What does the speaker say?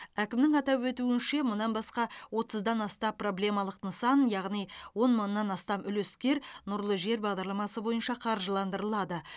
әкімнің атап өтуінше мұнан басқа отыздан аса проблемалық нысан яғни он мыңнан астам үлескер нұрлы жер бағдарламасы бойынша қаржыландырылады